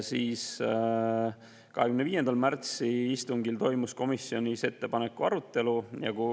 25. märtsi istungil toimus komisjonis ettepaneku arutelu.